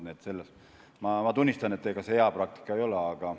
Nii et ma tunnistan, et ega see hea praktika ei ole.